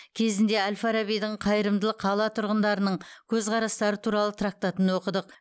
кезінде әл фарабидің қайырымды қала тұрғындарының көзқарастары туралы трактатын оқыдық